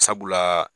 Sabula